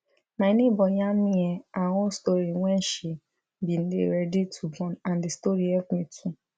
my neighbor yarn me um her own story wen she bin dey ready to born n d story help me too